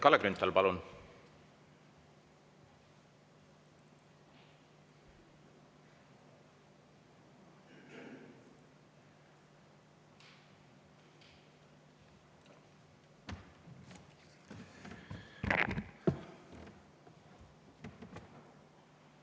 Kalle Grünthal, palun!